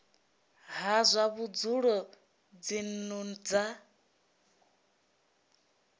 ha zwa vhudzulo dzinnu dza